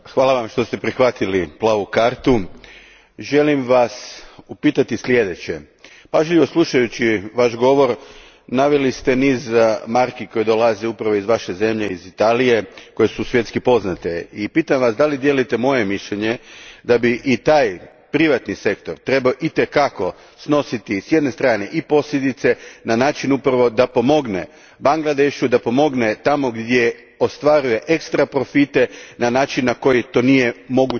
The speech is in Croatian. Želim Vas upitati sljedeće Pažljivo slušajući Vaš govor naveli ste niz marki koje dolaze upravo iz Vaše zemlje, iz Italije, koje su svjetski poznate i pitam Vas dijelite li moje mišljenje da bi i taj privatni sektor trebao i te kako snositi s jedne strane i posljedice na način upravo da pomogne Bangladešu, da pomogne tamo gdje ostvaruje ekstraprofite na način na koji to nije moguće i nije ni primjereno, barem kako ja to vidim?